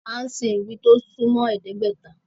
Án sìn ìgbín tí ó sún mọ́ ẹ̀ẹ́dẹ́gbẹ́ta